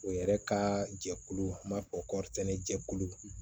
O yɛrɛ ka jɛkulu an b'a fɔ kɔrɔritɛnɛ jɛkulu